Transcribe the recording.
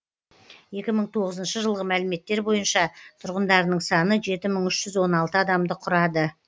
екі мың тоғызыншы жылғы мәліметтер бойынша тұрғындарының саны жеті мың үш жүз он алты адамды құрады